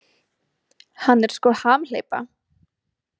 Hann er sko hamhleypa.